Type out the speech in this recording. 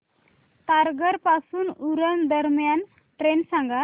तारघर पासून उरण दरम्यान ट्रेन सांगा